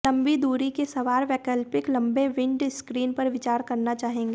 लंबी दूरी के सवार वैकल्पिक लम्बे विंडस्क्रीन पर विचार करना चाहेंगे